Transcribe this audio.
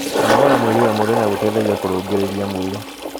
kũnogora mwĩrĩ o mũthenya gũteithagia kurungirirĩa mwĩrĩ